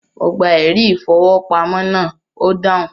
Mo gba “ ẹ̀rí-ìfowópamọ́” náà, ó dáhùn.